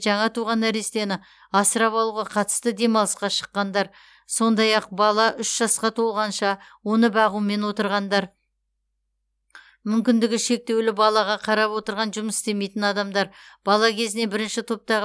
жаңа туған нәрестені асырап алуға қатысты демалысқа шыққандар сондай ақ бала үш жасқа толғанша оны бағумен отырғандар мүмкіндігі шектеулі балаға қарап отырған жұмыс істемейтін адамдар бала кезінен бірінші топтағы